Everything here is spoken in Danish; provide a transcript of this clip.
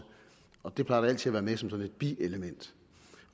og det plejer sådan et bielement